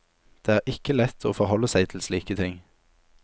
Det er ikke lett å forholde seg til slike ting.